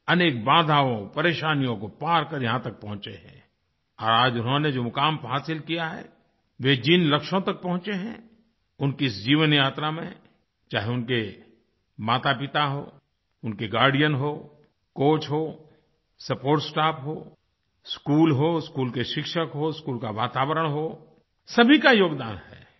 अनेक बाधाओं परेशानियों को पार करके यहाँ तक पहुँचे हैं और आज उन्होंने जो मुक़ाम हासिल किया है वे जिन लक्ष्यों तक पहुँचे हैं उनकी इस जीवनयात्रा में चाहे उनके मातापिता हों उनके गार्डियन हो कोच हो सपोर्ट स्टाफ हो स्कूल हो स्कूल के शिक्षक हों स्कूल का वातावरण हो सभी का योगदान है